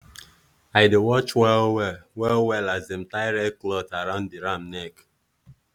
i dey watch well-well well-well as dem tie red cloth around the ram neck.